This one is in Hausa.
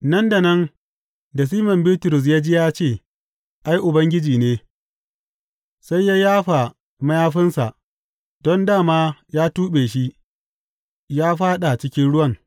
Nan da nan da Siman Bitrus ya ji ya ce, Ai, Ubangiji ne, sai ya yafa mayafinsa don dā ma ya tuɓe shi, ya fāɗa cikin ruwan.